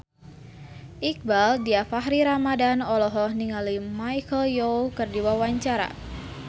Iqbaal Dhiafakhri Ramadhan olohok ningali Michelle Yeoh keur diwawancara